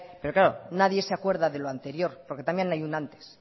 pero claro nadie se acuerda de lo anterior porque también hay un antes